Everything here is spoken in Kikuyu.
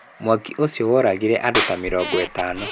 Mwaki ũcio woragire andũ ta mĩrongo ĩtano.